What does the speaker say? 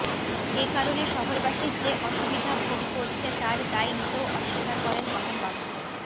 একারণে শহরবাসী যে অসুবিধা ভোগ করছে তার দায় নিতেও অস্বীকার করেন তপনবাবু